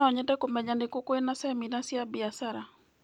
No nyende kũmenya nĩ kũ kwĩna cemina cia biacara.